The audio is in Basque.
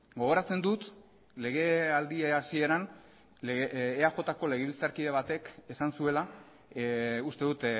gogoratzen dut legealdia hasieran eajko legebiltzarkide batek esan zuela uste dut